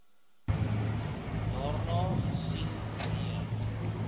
daarna gesien nee